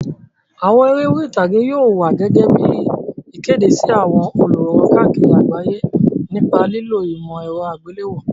Àwọn eré orí ìtàgé yóò wá gẹ́gẹ́ bí ìkéde sí àwọn olùwòran káàkiri àgbáyé nípa lílo ìmọ̀ ẹ̀rọ àgbéléwò.